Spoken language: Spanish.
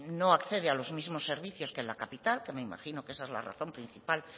no accede a los mismos servicios que en la capital que me imagino que esa es la razón principal